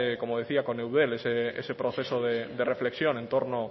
con eudel ese proceso de reflexión en torno